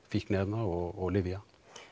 fíkniefna og lyfja